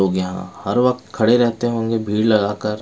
लोग यहाँ हर वक्त खड़े रहते होंगे भीड़ लगाकर।